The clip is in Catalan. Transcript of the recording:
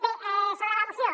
bé sobre la moció